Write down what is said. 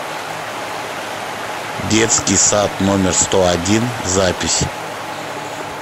детский сад номер сто один запись